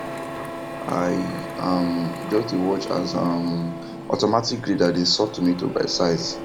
i um just dey watch as um automatic grader dey sort tomato by size